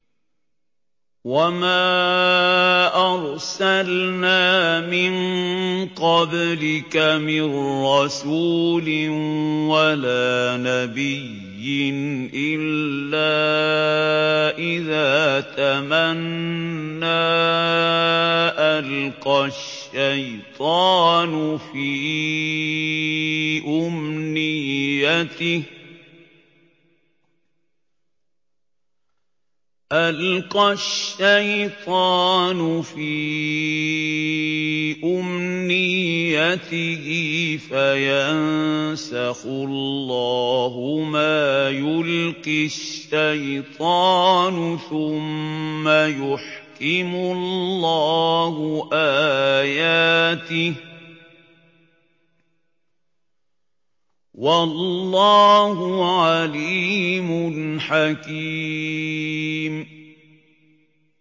وَمَا أَرْسَلْنَا مِن قَبْلِكَ مِن رَّسُولٍ وَلَا نَبِيٍّ إِلَّا إِذَا تَمَنَّىٰ أَلْقَى الشَّيْطَانُ فِي أُمْنِيَّتِهِ فَيَنسَخُ اللَّهُ مَا يُلْقِي الشَّيْطَانُ ثُمَّ يُحْكِمُ اللَّهُ آيَاتِهِ ۗ وَاللَّهُ عَلِيمٌ حَكِيمٌ